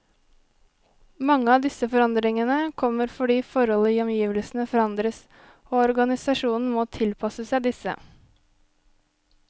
Mange av disse forandringene kommer fordi forhold i omgivelsene forandres, og organisasjonen må tilpasse seg disse.